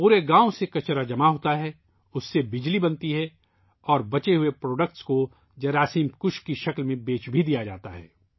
پورے گاؤں سے کچرا اکٹھا کیا جاتا ہے ، اس سے بجلی پیدا ہوتی ہے اور باقی بچے ہوئے فضلہ کو کیڑے مار دوا کے طور پر فروخت کیا جاتا ہے